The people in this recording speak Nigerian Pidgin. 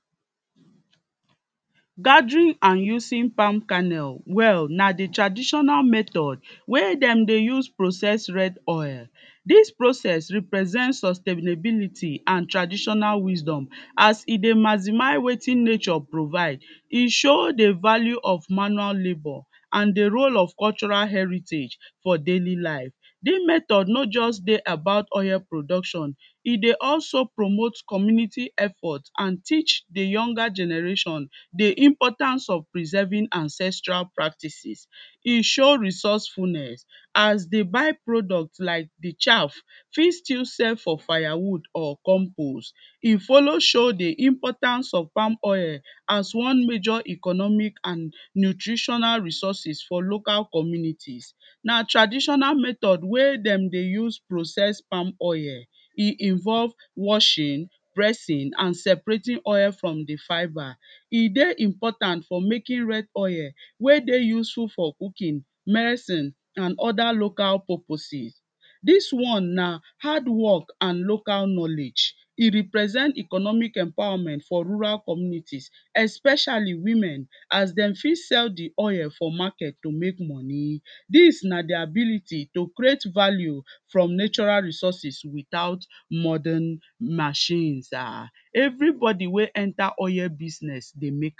gathering and using palm kanel wel na the traditional method wey dem Dey use process red oil, dis process represent sustainability and traditional wisdom as e Dey mazimy wetin nature provide, e show the value of manual labor and the role of cultural heritage for daily life, the method no jus Dey about oil production, e Dey also promote community effort and teach the younger generation the importance of preserving ancestral practices, e show resourcefulness and the byproduct like the Chaf fit stil serve for firewood or compose, e follow show the importance of palm oil as one major economic and nutritional resources for local communities, na traditional method wey dem Dey use process palm oil, e involve washing, pressing and seprating oil from the fibre, e Dey important for making red oil wey Dey useful for cooking, merecine and oda local purposes, Dis one na hardwork and local knowledge, e represent Economic empowerment for rural communities especially women as dem fit sell the oil for market to make money, dis na the ability to create value from natural resources without modern machines um everybody wey enta oil business Dey make